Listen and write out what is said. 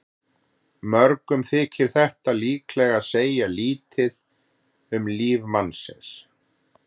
Mörgum þykir þetta líklega segja lítið um líf mannsins.